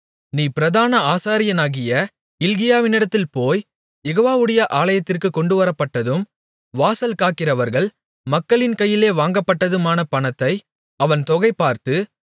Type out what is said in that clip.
நீ பிரதான ஆசாரியனாகிய இல்க்கியாவினிடத்தில் போய் யெகோவவுடைய ஆலயத்திற்குக் கொண்டுவரப்பட்டதும் வாசல் காக்கிறவர்கள் மக்களின் கையிலே வாங்கப்பட்டதுமான பணத்தை அவன் தொகைபார்த்து